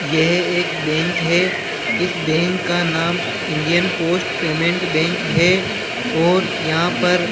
ये एक बैंक है इस बैंक का नाम इंडियन पोस्ट पेमेंट बैंक है और यहां पर --